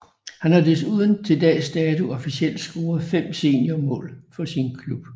Han har desuden til dags dato officielt scoret 5 senior mål for sin klub